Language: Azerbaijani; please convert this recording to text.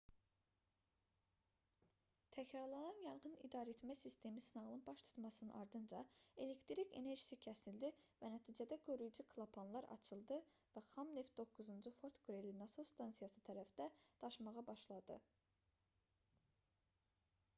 təkrarlanan yanğın idarəetmə sistemi sınağının baş tutmasının ardınca elektrik enerjisi kəsildi və nəticədə qoruyucu klapanlar açıldı və xam neft 9-cu fort qreli nasos stansiyası tərəfdə daşmağa başladı